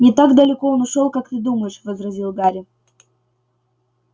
не так далеко он ушёл как ты думаешь возразил гарри